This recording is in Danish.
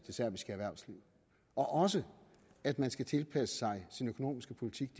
erhvervsliv og også at man skal tilpasse sin økonomiske politik